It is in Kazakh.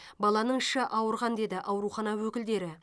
баланың іші ауырған деді аурухана өкілдері